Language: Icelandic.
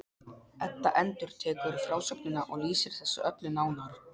Edda endurtekur frásögnina og lýsir þessu öllu nánar.